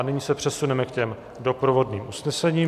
A nyní se přesuneme k těm doprovodným usnesením.